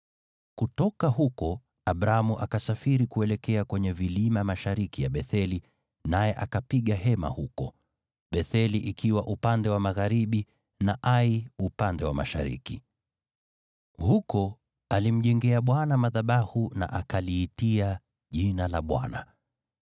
Kutoka huko Abramu akasafiri kuelekea kwenye vilima mashariki ya Betheli, naye akapiga hema huko, Betheli ikiwa upande wa magharibi na Ai upande wa mashariki. Huko alimjengea Bwana madhabahu na akaliitia jina la Bwana .